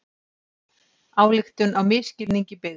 Ályktun á misskilningi byggð